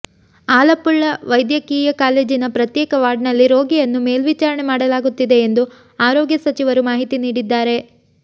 ಆಲಪ್ಪುಳ ವೈದ್ಯಕೀಯ ಕಾಲೇಜಿನ ಪ್ರತ್ಯೇಕ ವಾರ್ಡ್ನಲ್ಲಿ ರೋಗಿಯನ್ನು ಮೇಲ್ವಿಚಾರಣೆ ಮಾಡಲಾಗುತ್ತಿದೆ ಎಂದು ಆರೋಗ್ಯ ಸಚಿವರು ಮಾಹಿತಿ ನೀಡಿದ್ದಾರೆ